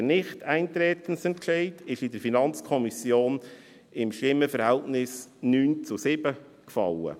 Der Nichteintretensentscheid fiel in der FiKo mit dem Stimmenverhältnis von 9 zu 7.